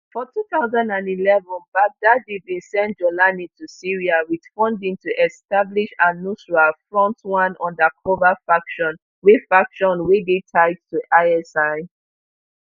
for two thousand and eleven baghdadi bin send jawlani to syria wit funding to establish alnusra front one undercover faction wey faction wey dey tied to isi